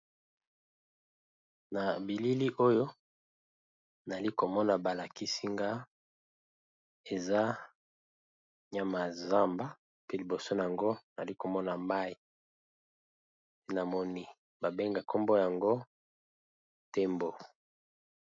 Na bilili oyo bazo lakisa nga nyama ya zamba , na liboso nango mai nyama yango ezali nzovu to na lopoto Elephant.